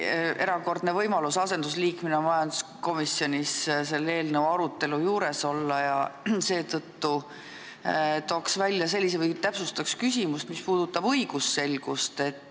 Mul oli erakordne võimalus asendusliikmena majanduskomisjonis selle eelnõu arutelu juures olla ja seetõttu täpsustaks küsimust, mis puudutab õigusselgust.